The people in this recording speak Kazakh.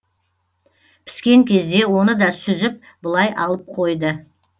піскен кезде оны да сүзіп былай алып қойды